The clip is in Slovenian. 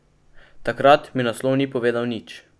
Takrat mi naslov ni povedal nič.